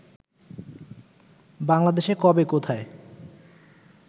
বাংলাদেশে কবে, কোথায়